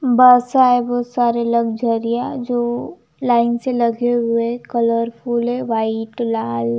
बसा है बहुत सारे लग्जरिया जो लाइन से लगे हुए कलरफुल है वाइट लाल--